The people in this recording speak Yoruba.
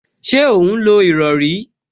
Ṣé ó ń lo ìrọrí?